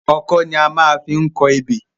Ọkọ́ ni a maá fi n kọ ebè